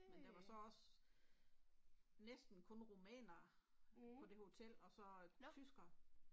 Men der var så også næsten kun rumænere på det hotel og så tyskere